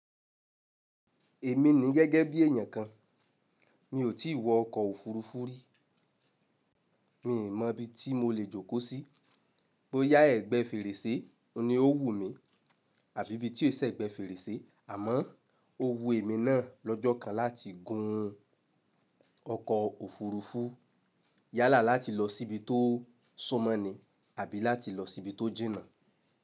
Èmi ni gẹ́gẹ́ bí èèyàn kan, mi ò tí wọ ọkọ̀ òfuurufú rí. Mi ò mọ ibi tí mo lè jókòó sí, bó yá ẹ̀gbẹ́ fèrèsé, ọ ni ó wù mí àbí ibi tí ò ṣẹ̀gbẹ́ fèrèsé, àmọ́ ó wu èmi náà lọ́jọ́ kan láti gun ọkọ̀ òfuurufú. Yálà láti lọ sí ibi tó suńmọ ni àbí láti lọ sí ibi tó jìnnà.